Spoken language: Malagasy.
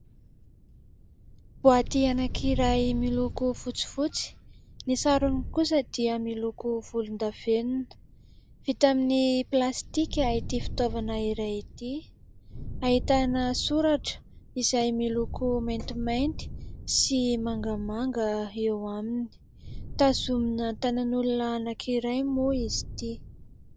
Boaty anankiray miloko fotsifotsy, ny sarony kosa dia miloko volondavenona, vita amin'ny plastika ity fitaovana iray ity, ahitana soratra izay miloko maintimainty sy mangamanga eo aminy, tazomina tanan'olona anankiray moa izy ity.